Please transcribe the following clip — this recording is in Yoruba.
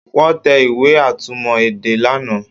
Wọ́n tẹ ìwé atúmọ̀ èdè lánàá